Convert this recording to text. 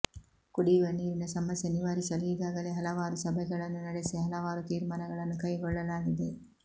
ಕುಡಿಯುವ ನೀರಿನ ಸಮಸ್ಯೆ ನಿವಾರಿಸಲು ಈಗಾಗಲೇ ಹಲವಾರು ಸಭೆಗಳನ್ನು ನಡೆಸಿ ಹಲವಾರು ತೀರ್ಮಾನಗಳನ್ನು ಕೈಗೊಳ್ಳಲಾಗಿದೆ